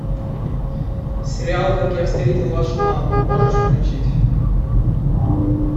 сериал как я встретил вашу маму можешь включить